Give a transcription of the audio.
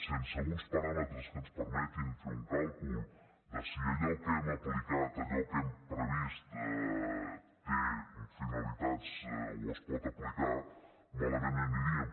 sense uns paràmetres que ens permetin fer un càlcul de si allò que hem aplicat allò que hem previst té finalitats o es pot aplicar malament aniríem